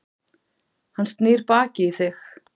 Hann snýr baki í þig.